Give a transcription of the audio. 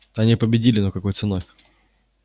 они победили но какой ценой